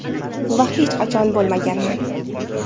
Va hech qachon bo‘lmaganman.